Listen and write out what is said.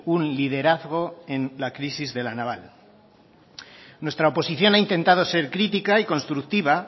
un liderazgo en la crisis de la naval nuestra oposición ha intentado ser crítica y constructiva